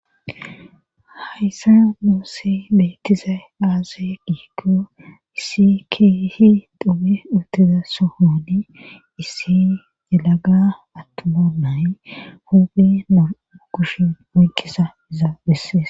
Hayssa muusse beettizay aaze giikko issi kiihi dupi uttiza sohodi issi delaga attuma nay huphi moru kush moykisa izaa bessees.